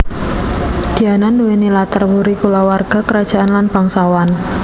Diana nduwèni latar wuri kulawarga krajaan lan bangsawan